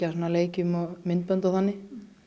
leikjum og myndbönd og þannig